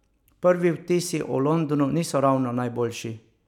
Prvi vtisi o Londonu niso ravno najboljši.